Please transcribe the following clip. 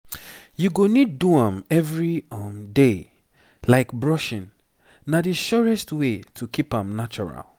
you go need do am every um day like brushing na the surest way to keep am natural